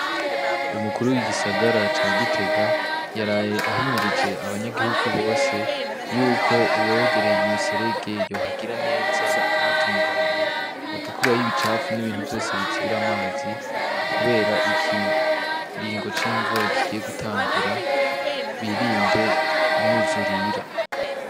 Umukuru w'igisagara ca Gitega yaraye ahimirije abanyagihugu bose y'uko uwegereye umuserege yohagira neza akahatunganya agakurayo ibicafu n'ibintu vyose bizibira amazi, kubera ikiringo c'imvura kigiye gutangura, birinde imyuzurira.